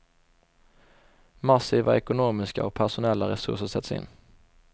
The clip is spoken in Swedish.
Massiva ekonomiska och personella resurser sätts in.